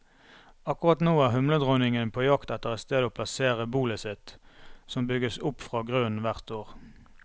Akkurat nå er humledronningene på jakt etter et sted å plassere bolet sitt, som bygges opp fra grunnen hvert år.